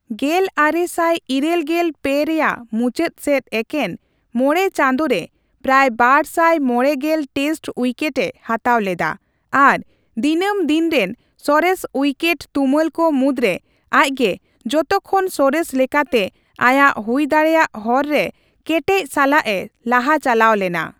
ᱜᱮᱞ ᱟᱨᱮ ᱥᱟᱭ ᱤᱨᱟᱹᱞ ᱜᱮᱞ ᱯᱮ ᱨᱮᱭᱟᱜ ᱢᱩᱪᱟᱹᱫ ᱥᱮᱫ ᱮᱠᱮᱱ ᱢᱚᱬᱮ ᱪᱟᱸᱫᱚ ᱨᱮ ᱯᱨᱟᱭ ᱵᱟᱨᱥᱟᱭ ᱢᱚᱲᱮ ᱜᱮᱞ ᱴᱮᱥᱴ ᱩᱭᱠᱮᱴᱼᱮ ᱦᱟᱛᱟᱣ ᱞᱮᱫᱟ ᱟᱨ ᱫᱤᱱᱟᱹᱢᱫᱤᱱ ᱨᱮᱱ ᱥᱚᱨᱮᱥ ᱩᱭᱠᱮᱴ ᱛᱩᱢᱟᱹᱞ ᱠᱚ ᱢᱩᱫᱨᱮ ᱟᱡᱜᱮ ᱡᱚᱛᱚ ᱠᱷᱚᱱ ᱥᱚᱨᱮᱥ ᱞᱮᱠᱟᱛᱮ ᱟᱭᱟᱜ ᱦᱩᱭ ᱫᱟᱲᱮᱭᱟᱜ ᱦᱚᱨ ᱨᱮ ᱠᱮᱴᱮᱡ ᱥᱟᱞᱟᱜ ᱮ ᱞᱟᱦᱟ ᱪᱟᱞᱟᱣ ᱞᱮᱱᱟᱹ